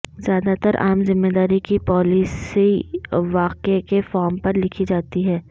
زیادہ تر عام ذمہ داری کی پالیسییں واقعے کے فارم پر لکھی جاتی ہیں